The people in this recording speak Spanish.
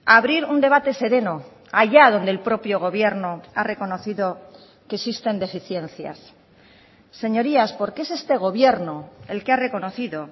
abrir un debate sereno allá donde el propio gobierno ha reconocido que existen deficiencias señorías porque es este gobierno el que ha reconocido